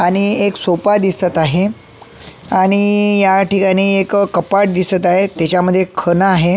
आणि एक सोफा दिसत आहे आणि याठिकाणी एक कपाट दिसत आहे त्याच्यामध्ये खण आहे.